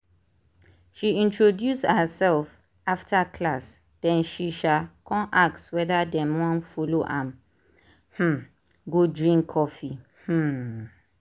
she introduce herself after class then she um con ask whether dem wan follow am um go drink coffee. um